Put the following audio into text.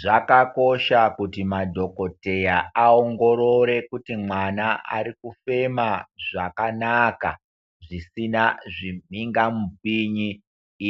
Zvaka kosha kuti madhokoteya aongorore kuti mwana ari kufema zvakanaka zvisina zvi minga mupinyi